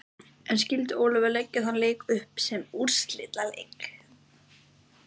En skyldi Ólafur leggja þann leik upp sem úrslitaleik?